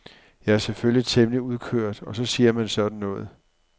Jeg er selvfølgelig temmelig udkørt og så siger man sådan noget.